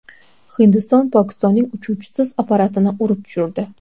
Hindiston Pokistonning uchuvchisiz apparatini urib tushirdi.